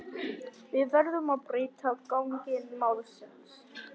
Við verðum að breyta gangi málsins.